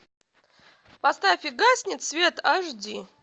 поставь и гаснет свет аш ди